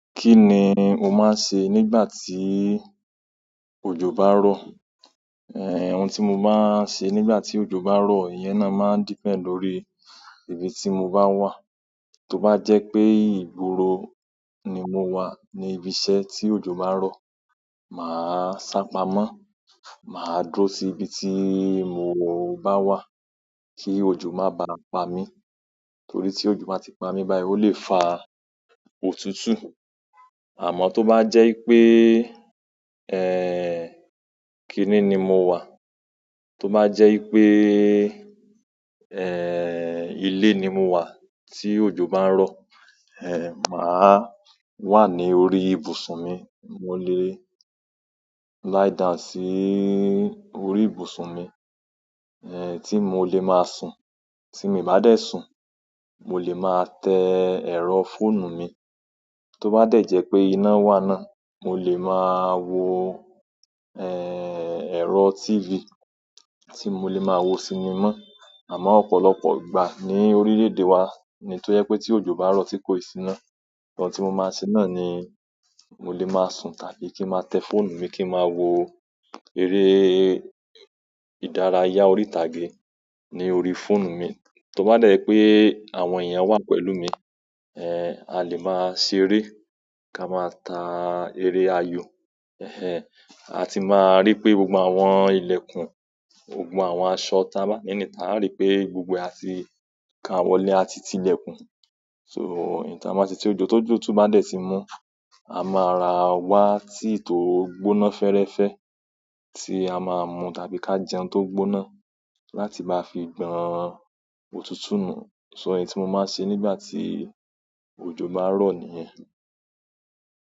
Kí ni o máa ń ṣe nígbà tí òjò bá rò? Ehn ohun tí mo máa ń ṣe nígbà tí òjò bá rò ìyẹn náà máa ń depend lórí ibi tí mo bá wà. To bá jẹ́ pé ìgboro ni mo wà ní ibiṣẹ́ tí òjò bá rò máa sápamọ́ máa dúró síbi tí mo bá wà kí òjò má baà pami. Nítorí tí òjò bá tí pa mí báyìí, ó lè fa òtútù. Àmọ́ tó bá jẹ́ pé, eh, kínní ni mo wà, tó bá jẹ́ pé, eh, ilé ni mo wà tí òjò bá ń rọ̀, eh, màá wà ní orí ibùsùn mi. Mo lé liedown sí orí ibùsùn mi, eh, tí mo lè máa sùn. Tí mi bá dẹ̀ sùn, mo lè máa tẹ ẹ̀rọ fóònù mi. Tó bá dẹ̀ jẹ́ pé iná wà náà, mo lè máa wo, eh, ẹ̀rọ TV tí mo lè máa wo sinimá. Àmọ́ ọ̀pọ̀lọpọ̀ ìgbà ní orílẹ̀-èdè wa ni tó jẹ́ pé tí òjò bá ń rọ̀ tí kò ì sí iná. Ǹkan tí mo má ṣe náà ni mo lè máa sùn tàbí kí ma tẹ fóònù mi tàbí kí máa wo eré ìdárayá ìtàgé ni orí fóònù mi tó bá dẹ̀ pé àwọn èèyàn wà pẹ̀lú mi, eh, a lè máa ṣeré ká máa ta eré ayò. Eh a ti máa rí pé gbogbo àwọn ilẹ̀kùn gbogbo àwọn aṣọ ta bá ni níta aa rí pé gbogbo e àti kaa wọlé a titi ilẹ̀kùn so, èyí táa máa ṣe tí òjò tó jó tó bá dẹ̀ ti mú, a máa rà wá tíì tó gbóná fẹ́ẹ́rẹ́fẹ́ tí a máa mú tàbí ká jẹun tó gbóná láti bá fi gbọ̀n òtútù nù. So, èyí tí mo máa ṣe nígbà tí òjò bá ń rọ̀ nìyẹn.